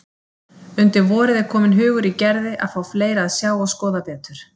Undir vorið er kominn hugur í Gerði að fá fleira að sjá og skoða betur.